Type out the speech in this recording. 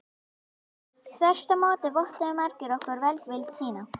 Þvert á móti vottuðu margir okkur velvild sína.